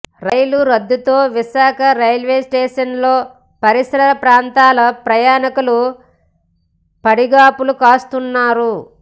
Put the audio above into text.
రైళ్ల రద్దుతో విశాఖ రైల్వే స్టేషన్లో పరిసర ప్రాంతాల ప్రయాణికులు పడిగాపులు కాస్తున్నారు